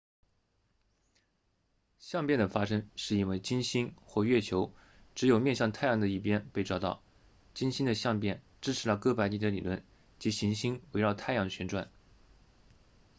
相变的发生是因为金星或月球只有面向太阳的一边被照到金星的相变支持了哥白尼的理论即行星围绕太阳旋转